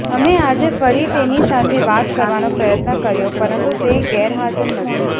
અમે આજે ફરી તેની સાથે વાત કરવાનો પ્રયત્ન કર્યો પરંતુ તે ગેરહાજર નથી